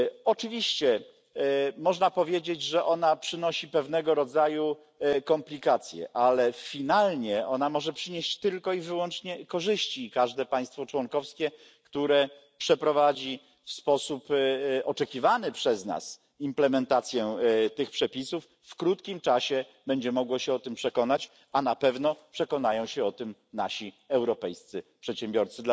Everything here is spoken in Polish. Oczywiście można powiedzieć, że przynosi ona pewnego rodzaju komplikacje, ale ostatecznie może ona przynieść tylko i wyłącznie korzyści i każde państwo członkowskie, które przeprowadzi w sposób oczekiwany przez nas wdrożenie przepisów, w krótkim czasie będzie mogło się o tym przekonać, a na pewno przekonają się o tym nasi europejscy przedsiębiorcy.